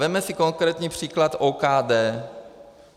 Vezměme si konkrétní příklad OKD.